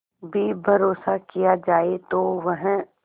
भी भरोसा किया जाए तो वह